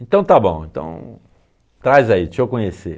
Então está bom, então, traz aí, deixa eu conhecer.